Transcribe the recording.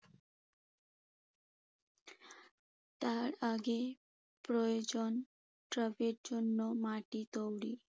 আর আগে প্রয়োজন টবের জন্য মাটি তৈরি।